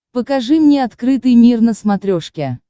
покажи мне открытый мир на смотрешке